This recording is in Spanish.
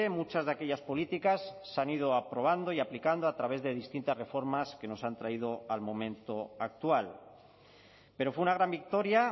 muchas de aquellas políticas se han ido aprobando y aplicando a través de distintas reformas que nos han traído al momento actual pero fue una gran victoria